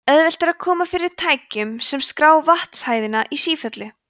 auðvelt er að koma fyrir tækjum sem skrá vatnshæðina í sífellu